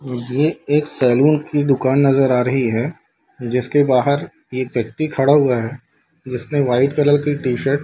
ये एक सैलून की दुकान नजर आ रही है जिसके बाहर एक व्यक्ति खड़ा हुआ है जिसने व्हाइट कलर की टी-शर्ट --